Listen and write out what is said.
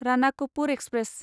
Ranakpur express